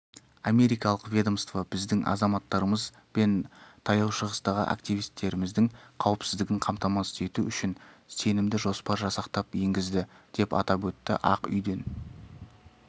америкалық ведомство біздің азаматтарымыз бен таяу шығыстағы активтеріңміздің қауіпсіздігін қамтамасыз ету үшін сенімді жоспар жасақтап енгізді деп атап өтті ақ үйден